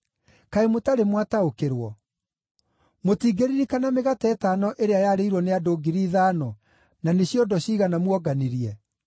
Kaĩ mũtarĩ mwataũkĩrwo? Mũtingĩririkana mĩgate ĩtano ĩrĩa yarĩirwo nĩ andũ ngiri ithano, na nĩ ciondo ciigana muonganirie?